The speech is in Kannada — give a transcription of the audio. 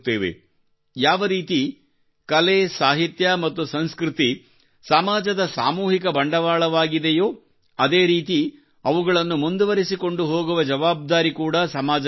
ಯಾವರೀತಿ ಕಲೆ ಸಾಹಿತ್ಯ ಮತ್ತು ಸಂಸ್ಕೃತಿ ಸಮಾಜದ ಸಾಮೂಹಿಕ ಬಂಡವಾಳವಾಗಿದೆಯೋ ಅದೇ ರೀತಿ ಅವುಗಳನ್ನು ಮುಂದುವರಿಸಿಕೊಂಡು ಹೋಗುವ ಜವಾಬ್ದಾರಿ ಕೂಡಾ ಸಮಾಜಕ್ಕೆ ಇರುತ್ತದೆ